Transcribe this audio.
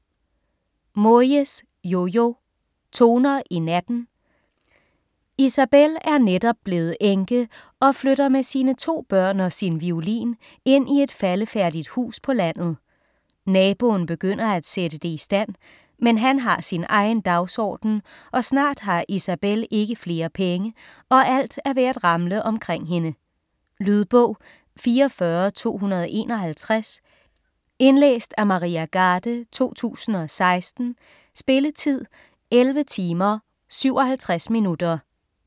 Moyes, Jojo: Toner i natten Isabel er netop blevet enke og flytter med sine to børn og sin violin ind i et faldefærdigt hus på landet. Naboen begynder at sætte det i stand, men han har sin egen dagsorden, og snart har Isabel ikke flere penge, og alt er ved at ramle omkring hende. Lydbog 44251 Indlæst af Maria Garde, 2016. Spilletid: 11 timer, 57 minutter.